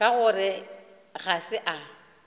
ka gore ga se a